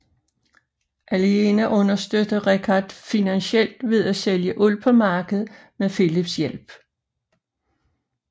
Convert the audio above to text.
Aliena understøtter Richard finansielt ved at sælge uld på markedet med Phillips hjælp